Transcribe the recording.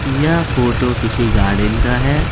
यह फोटो किसी गार्डन का है।